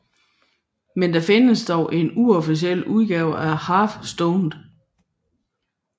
Men der findes dog en uofficiel udgave af Half Stoned